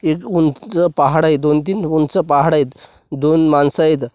एक उंच पहाड आहे दोन तीन उंच पहाड आहेत दोन माणसं आहेत.